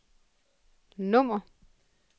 nummer